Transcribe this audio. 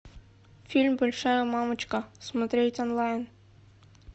фильм большая мамочка смотреть онлайн